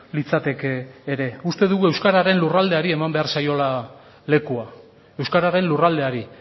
litzateke ere uste dugu euskararen lurraldeari eman behar zaiola lekua euskararen lurraldeari